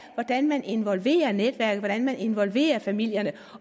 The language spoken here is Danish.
af hvordan man involverer netværket hvordan man involverer familierne